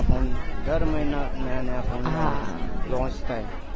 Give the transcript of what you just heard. આપને દર મહિના નયા નયા ફોન launch થાય